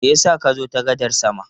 Me ya sa ka zo ta gadar sama?